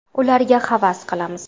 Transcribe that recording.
Ularga havas qilamiz.